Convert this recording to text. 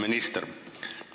Hea minister!